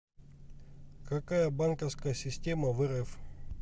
какая банковская система в рф